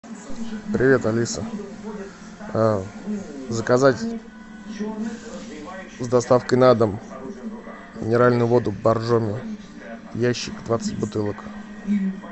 привет алиса заказать с доставкой на дом минеральную воду боржоми ящик двадцать бутылок